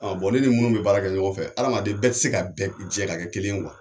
ne ni munnu bɛ baara kɛ ɲɔgɔn fɛ, hadamaden bɛɛ tɛ se ka bɛn jɛn ka kɛ kelen yen